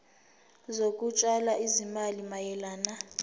zokutshala izimali mayelana